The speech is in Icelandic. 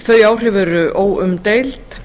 þau áhrif eru óumdeild